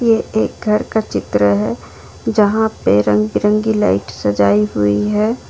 ये एक घर का चित्र है जहां पे रंग बिरंगी लाइट सजाई हुई है।